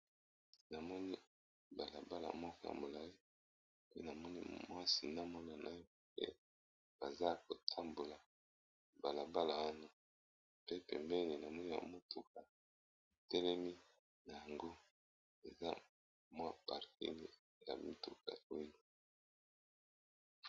Namoni balabala ya molayi pe namoni mwasi na mwana naye baza ko tambola pembeni namoni mutuka etelemi na parking.